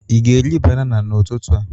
Ị ga-eri banana n'ụtụtụ a?